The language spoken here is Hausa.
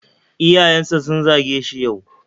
Iyayensa sun zage shi yau.